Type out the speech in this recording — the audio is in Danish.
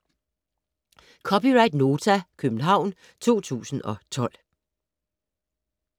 (c) Nota, København 2012